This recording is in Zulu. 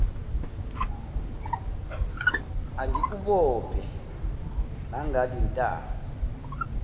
angikubophe nangale ntambo